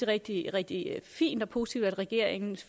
rigtig rigtig fint og positivt at regeringen